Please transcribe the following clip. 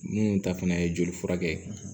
Minnu ta fana ye joli furakɛ